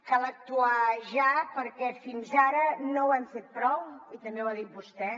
cal actuar ja perquè fins ara no ho hem fet prou i també ho ha dit vostè